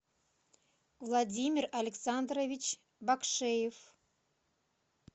владимир александрович бакшеев